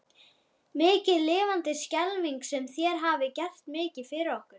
Mikið lifandis skelfing sem þér hafið gert mikið fyrir okkur.